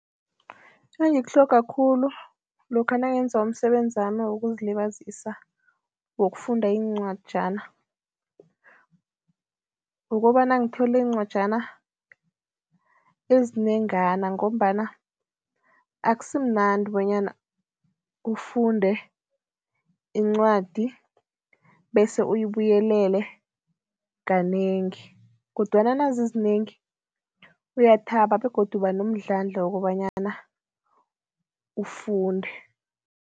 Engikutlhoga khulu lokha nangenza umsebenzi wami wokuzilibazisa, wokufunda iincwajana, ukobana ngithole iincwajana ezinengana ngombana akusimnandi bonyana ufunde incwadi bese uyibuyelele kanengi kodwana nazizinengi uyathaba begodu uba nomdlandla wokobanyana ufunde.